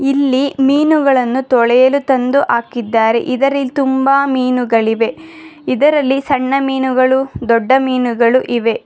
ಇಲ್ಲಿ ಮೀನುಗಳನ್ನು ತೊಳೆಯಲು ತಂದು ಹಾಕಿದ್ದಾರೆ ಇದರ ಇಲ್ಲಿ ತುಂಬ ಮೀನುಗಳಿವೆ ಇದರಲ್ಲಿ ಸಣ್ಣ ಮೀನುಗಳು ದೊಡ್ಡ ಮೀನುಗಳು ಇವೆ.